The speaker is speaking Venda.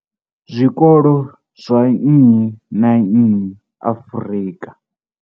Zwikolo zwa nnyi na nnyi Afrika.